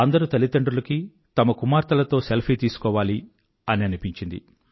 అందరు తల్లిదండ్రులకీ తమ కుమార్తెలతో సెల్ఫీ తీసుకోవాలి అని అనిపించింది